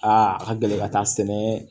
Aa a ka gɛlɛn ka taa sɛnɛ